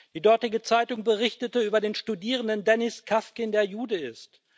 Die dortige Zeitung berichtete über den Studierenden Dennis Khavkin, der Jude ist.